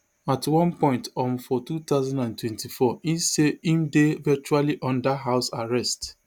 at one point um for two thousand and twenty-four e say im dey virtually under house arrest